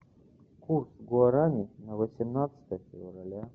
курс гуарани на восемнадцатое февраля